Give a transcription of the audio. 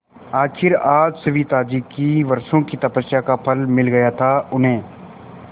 आखिर आज सविताजी की वर्षों की तपस्या का फल मिल गया था उन्हें